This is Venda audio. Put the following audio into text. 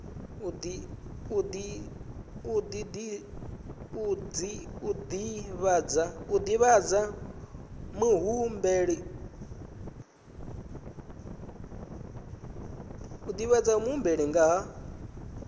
u divhadza muhumbeli nga ha